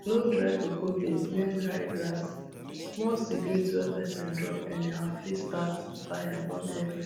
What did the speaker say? no dry cocoa beans near dry grasssmall cigarette wey person drop anyhow fit start fire burn every